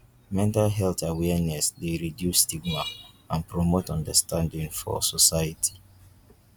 mental health awareness dey reduce stigma and promote understanding for society.